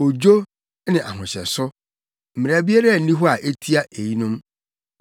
odwo ne ahohyɛso. Mmara biara nni hɔ a etia eyinom.